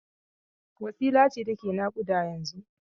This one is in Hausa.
Wacsila ce take naƙuda yanzun?